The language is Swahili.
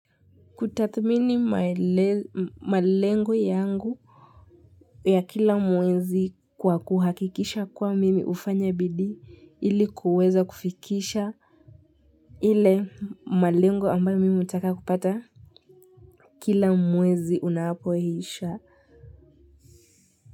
Kutathmini malengo yangu ya kila mwezi kwa kuhakikisha kuwa mimi hufanya bidii ili kuweza kufikisha ile malengo ambayo mimi hutaka kupata kila mwezi unapo isha.